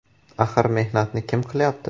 Axir mehnatni kim qilyapti.